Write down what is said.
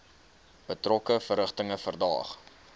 betrokke verrigtinge verdaag